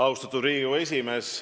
Austatud Riigikogu esimees!